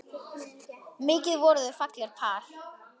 Mikið voru þau fallegt par.